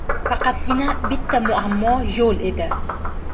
Faqatgina bitta muammo yo‘l edi.